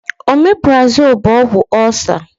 Ọmeprazole bụ ọgwụ ọcer